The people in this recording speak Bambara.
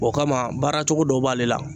O kama baara cogo dɔ b'ale la